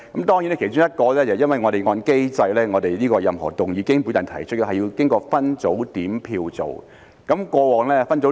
當然，其中一點是因為按照我們的機制，任何經我提出的議案，都要經過分組點票去做。